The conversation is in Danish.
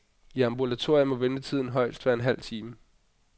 I ambulatorier må ventetiden højst være en halv time.